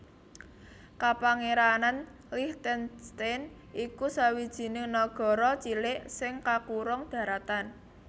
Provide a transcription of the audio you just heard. Kapangèranan Liechtenstein iku sawijining nagara cilik sing kakurung daratan